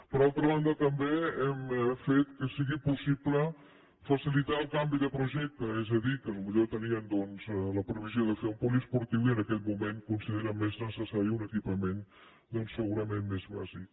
per altra banda també hem fet que sigui possible facilitar el canvi de projecte és a dir que potser tenien doncs la previsió de fer un poliesportiu i en aquest moment consideren més necessari un equipament segu rament més bàsic